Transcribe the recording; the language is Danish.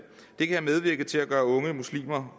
det kan have medvirket til at gøre unge muslimer